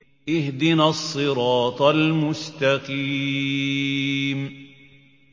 اهْدِنَا الصِّرَاطَ الْمُسْتَقِيمَ